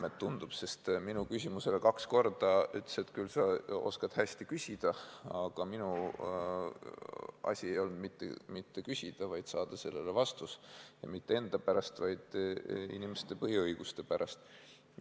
Vähemalt tundub nii, sest minu küsimuste peale ütles ta kahel korral, et küll sa oskad hästi küsida, aga minu asi ei olnud mitte küsida, vaid saada vastus, ja mitte enda pärast, vaid inimeste põhiõiguste pärast.